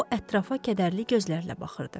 O ətrafa kədərli gözlərlə baxırdı.